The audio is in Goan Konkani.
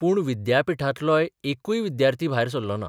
पूण विद्यापिठांतलोय एकूय विद्यार्थी भायर सरलो ना.